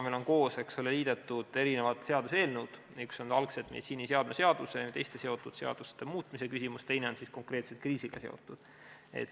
Meil on, eks ole, liidetud seaduseelnõud, üks oli algul meditsiiniseadme seaduse ja teiste seotud seaduste muutmise küsimuse jaoks, teine oli konkreetselt kriisiga seotud.